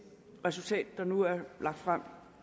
resultat der nu er lagt frem